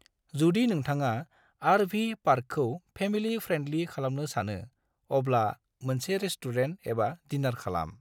जुदि नोंथांआ आर.वी. पार्कखौ फेमिलि फ्रेन्दलि खालामनो सानो, अब्ला मोनसे रेस्टुरेन्ट एबा डिनार खालाम।